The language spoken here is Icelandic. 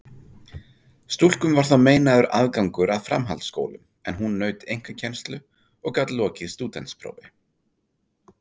Stúlkum var þá meinaður aðgangur að framhaldsskólum, en hún naut einkakennslu og gat lokið stúdentsprófi.